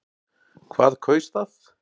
Hvað kaus það?